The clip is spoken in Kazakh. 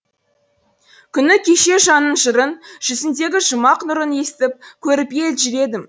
күні кеше жанның жырын жүзіндегі жұмақ нұрын естіп көріп елжіредім